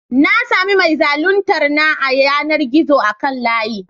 Na sami mai zaluntar na a yanar gizo akan layi.